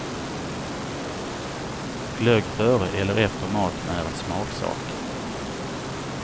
Glögg före eller efter maten är en smaksak.